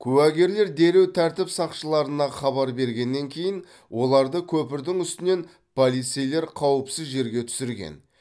куәгерлер дереу тәртіп сақшыларына хабар бергеннен кейін оларды көпірдің үстінен полицейлер қауіпсіз жерге түсірген